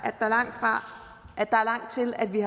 at der er langt til at vi